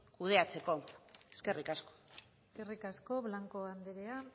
kudeatzeko eskerrik asko eskerrik asko blanco andrea